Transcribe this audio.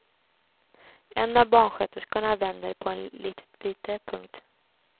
En av barnsköterskorna vänder på en litet bylte. punkt